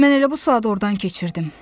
Mən elə bu saat ordan keçirdim.